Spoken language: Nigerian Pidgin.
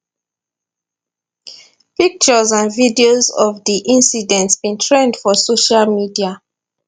pictures and videos of di incident bin trend for social media